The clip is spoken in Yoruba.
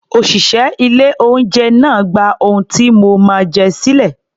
Òṣìṣẹ́ ilé-oúnjẹ náà gba ohun tí mo máa jẹ sílẹ̀